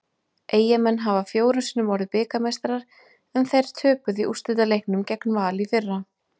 Eyjamenn hafa fjórum sinnum orðið bikarmeistarar en þeir töpuðu í úrslitaleiknum gegn Val í fyrra.